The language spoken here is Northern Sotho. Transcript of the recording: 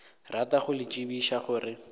rata go le tsebiša gore